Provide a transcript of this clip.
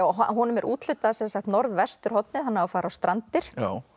honum er úthlutað norðvesturhorni hann á að fara á Strandir